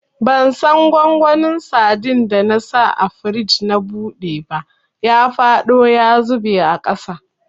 Bansan gwangwanin sadin da na sa a firij na buɗe ba, ya faɗo ya zube a ƙasa.